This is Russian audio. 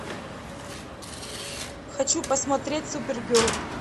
хочу посмотреть супергерл